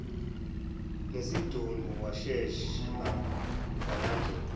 nesidumbu washesha walandela